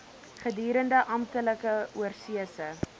gedurende amptelike oorsese